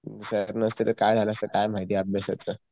sir नसते तर काय झालं असत काय माहिती अभ्यासाचं